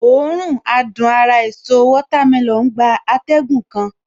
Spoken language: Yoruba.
Òórùn adùn ara èso watermelon gba atẹ́gùn kan